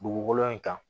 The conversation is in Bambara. Dugukolo in kan